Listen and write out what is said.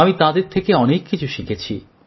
আমি তাঁদের থেকে অনেক কিছু শিখেছি